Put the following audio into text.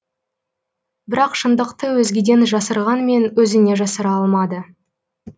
бірақ шындықты өзгеден жасырғанмен өзінен жасыра алмады